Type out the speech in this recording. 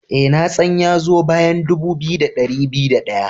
Ee, na tsan ya zo bayan dubu biyu da dari biyu da daya.